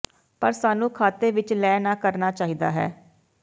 ਪਰ ਸਾਨੂੰ ਖਾਤੇ ਵਿੱਚ ਲੈ ਨਾ ਕਰਨਾ ਚਾਹੀਦਾ ਹੈ